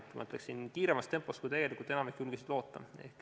Ma ütleksin, et see on toimunud kiiremas tempos, kui enamik julges loota.